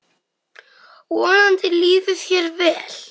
Vonandi líður þér vel.